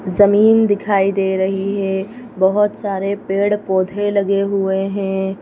जमीन दिखाई दे रही है बहुत सारे पेड़-पौधे लगे हुए हैं।